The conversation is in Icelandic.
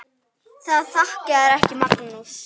Það þjakaði ekki Magnús.